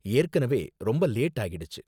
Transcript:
ஏற்கனவே ரொம்ப லேட் ஆகிடுச்சு.